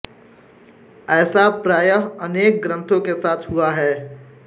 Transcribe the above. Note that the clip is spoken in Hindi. ऐसा प्रायः अनेक ग्रंथों के साथ हुआ है